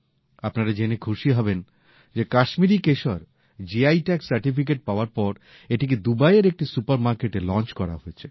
আপনারা এটা জেনে খুশি হবেন যে কাশ্মীরি কেশর জিআই ট্যাগ সার্টিফিকেট পাওয়ার পর এটিকে দুবাইয়ের একটি সুপার মার্কেটে লঞ্চ করা হয়েছে